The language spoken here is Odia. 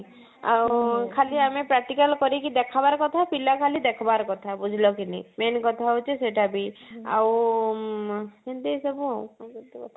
ଆଉ ଖାଲି ଆମେ practical କରେଇ କି ଦେଖବାର କଥା ଆଉ ପିଲା ଖାଲି ଦେଖବାର କଥା ବୁଝିଲ କି ନାଇଁ main କଥା ହଉଛି ସେଇଟା ବି ଆଉ ଆଁ ସେଇନ୍ତି ସବୁ ଆଉ